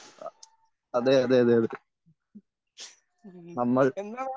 അ അതെ അതെ അതെ നമ്മൾ